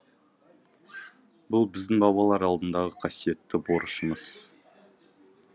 бұл біздің бабалар алдындағы қасиетті борышымыз